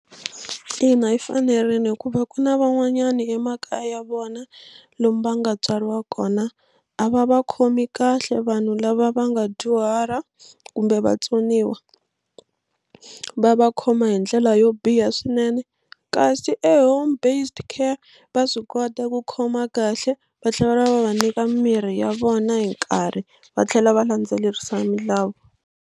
Ina, yi fanerile hikuva ku na van'wanyana emakaya ya vona lomu va nga tswariwa kona a va va khomi kahle vanhu lava va nga dyuhala kumbe vatsoniwa va va khoma hi ndlela yo biha swinene kasi home based care va swi kota ku khoma kahle va tlhela va va nyika mirhi ya vona hi nkarhi va tlhela va landzelerisa milawu.